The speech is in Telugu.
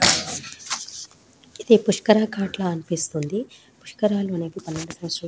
ఇది పుశుకర గత ల అనిపిస్తుంది ఈ పుశుకర గత